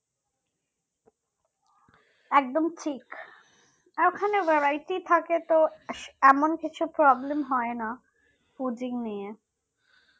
একদম ঠিক ওখানে Varietie থাকে তো এমন কিছু problem হয়না fooding নিয়ে